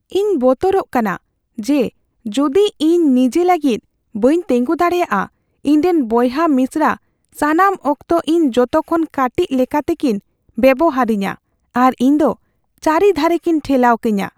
ᱤᱧ ᱵᱚᱛᱚᱨᱚᱜ ᱠᱟᱱᱟ ᱡᱮ ᱡᱩᱫᱤ ᱤᱧ ᱱᱤᱡᱟᱹ ᱞᱟᱹᱜᱤᱫ ᱵᱟᱹᱧ ᱛᱮᱸᱜᱚ ᱫᱟᱲᱮᱭᱟᱜᱼᱟ, ᱤᱧᱨᱮᱱ ᱵᱚᱭᱦᱟᱼᱢᱤᱥᱨᱟ ᱥᱟᱱᱟᱢ ᱚᱠᱛᱚ ᱤᱧ ᱡᱚᱛᱚᱠᱷᱚᱱ ᱠᱟᱹᱴᱤᱡ ᱞᱮᱠᱟᱛᱮᱠᱤᱱ ᱵᱮᱵᱚᱦᱟᱨᱤᱧᱟ ᱟᱨ ᱤᱧ ᱫᱚ ᱪᱟᱹᱨᱤ ᱫᱷᱟᱨᱮᱠᱤᱱ ᱴᱷᱮᱞᱟᱣ ᱠᱟᱹᱧᱟ ᱾